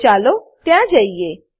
તો ચાલો ત્યાં જઈએ